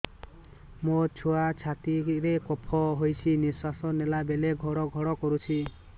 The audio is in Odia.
ମୋ ଛୁଆ ଛାତି ରେ କଫ ହୋଇଛି ନିଶ୍ୱାସ ନେଲା ବେଳେ ଘଡ ଘଡ କରୁଛି